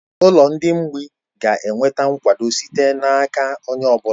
Ụlọ ndị mgbịị ga-enweta nkwado site n'aka onye ọ bụla